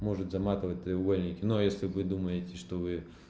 может заматовать треугольники но если вы думаете что вы